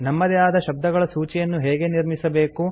ನಮ್ಮದೇ ಆದ ಶಬ್ದಗಳ ಸೂಚಿಯನ್ನು ಹೇಗೆ ನಿರ್ಮಿಸಬೇಕು